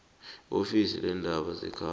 iofisi leendaba zekhaya